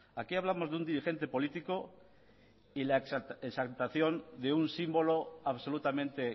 aquí hablamos de un diligente político y la exaltación de un símbolo absolutamente